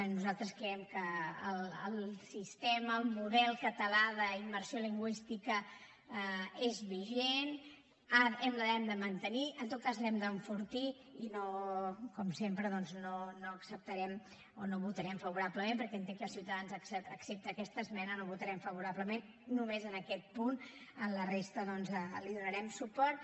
nosaltres creiem que el sistema el model català d’immersió lingüística és vigent l’hem de mantenir en tot cas l’hem d’enfortir i com sempre no acceptarem o no ho votarem favorablement perquè entenc que ciutadans accepta aquesta esmena només en aquest punt en la resta doncs li donarem suport